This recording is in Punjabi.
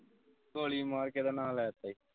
ਗੋਲੀ ਮਾਰ ਕੀ ਦਾ ਨਾਂ ਲੈ ਤਾ ਈ